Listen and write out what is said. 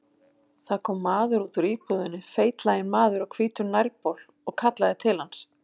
Það kom maður út úr íbúðinni, feitlaginn maður á hvítum nærbol, og kallaði til hans.